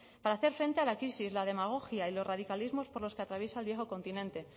para hacer frente a la crisis la demagogia y los radicalismos por los que atraviesa el viejo continente